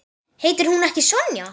Heitir hún ekki Sonja?